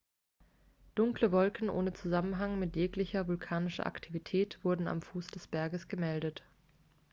dunkle wolken ohne zusammenhang mit jeglicher vulkanischer aktivität wurden am fuß des berges gemeldet